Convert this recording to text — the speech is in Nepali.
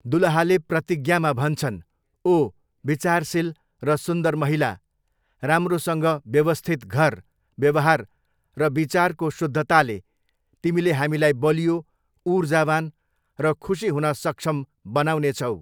दुलहाले प्रतिज्ञामा भन्छन्, 'ओह! विचारशील र सुन्दर महिला, राम्रोसँग व्यवस्थित घर, व्यवहार र विचारको शुद्धताले, तिमीले हामीलाई बलियो, ऊर्जावान र खुशी हुन सक्षम बनाउनेछौ।'